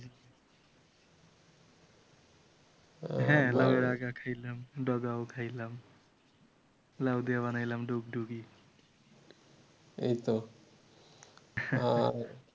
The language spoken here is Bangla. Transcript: হ্যাঁ লাউয়ের আগাও খাইলাম ডগাও খাইলাম লাউ দিয়ে বানাইলাম ডুগডুগি